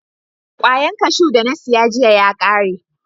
Kwayan kashu da na siya jiya ya kare.